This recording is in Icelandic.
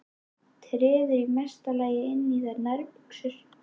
Treður í mesta lagi inn í þær nærbuxum.